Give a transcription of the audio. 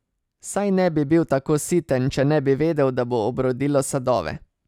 Saj ne bi bil tako siten, če ne bi vedel, da bo obrodilo sadove.